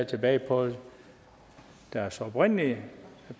tilbage på deres oprindelige